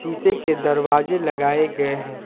शीशे के दरवाजे लगाए गए हैं।